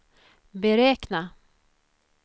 beräkna